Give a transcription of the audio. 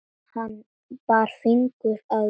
Hann bar fingur að vör.